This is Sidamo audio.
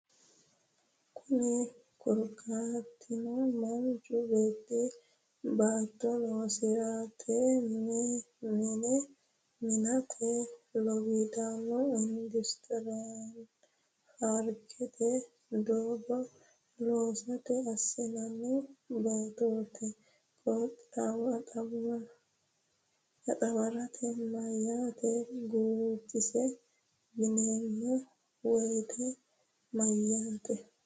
Kunni korkaatino manchu beetti baatto loosi’rate, mine mi’nate, lowiddaanna industirraranna faafirikkate, doogga loosate assinanni baattote qixxaaworaati, Meyaata guutisa yineemmo woyite mayyaankeeti?